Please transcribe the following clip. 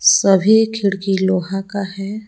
सभी खिड़की लोहा का है।